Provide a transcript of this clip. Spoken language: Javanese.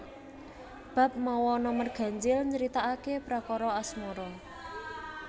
Bab mawa nomer ganjil nyritakaké perkara asmara